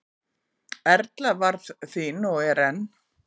Erla varð þín og er enn.